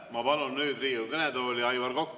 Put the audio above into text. Ma palun nüüd Riigikogu kõnetooli Aivar Koka.